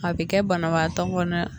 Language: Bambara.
A bɛ kɛ banabaatɔ kɔnɔna.